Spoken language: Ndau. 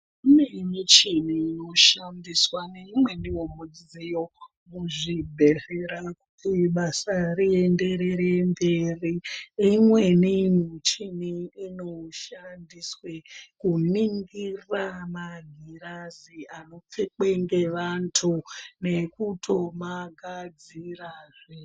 Kune michini inoshandiswa nemumweniwo mudziyo kuzvibhehlera kuti basa rienderere mberi. Imweni michini ino shandiswe kuningira magirazi anopfekwe ngevantu nekuto magadzirazve.